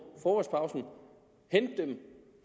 i frokostpausen hente dem